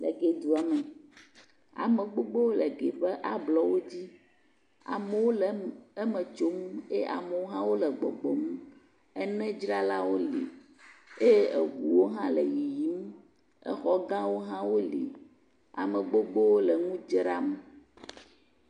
Le Gɛ dua me. Ame gbogbowo le Gɛ ƒe ablɔwo dzi. Amewo le eme tso ye amewo hã wole gbɔgbɔm. Ene dzralawo woli eye eŋuwo hã le yiyim. Exɔ gawo hã woli. Ame gbogbowo le nu dzram.